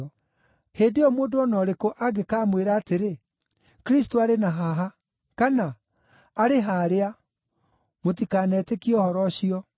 Hĩndĩ ĩyo mũndũ o na ũrĩkũ angĩkamwĩra atĩrĩ, ‘Kristũ arĩ na haha!’ kana, ‘Arĩ harĩa!’ Mũtikanetĩkie ũhoro ũcio.